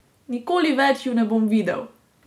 Nikoli več ju ne bom videl!